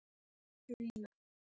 Má hafa slíka skoðun?